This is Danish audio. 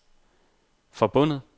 forbundet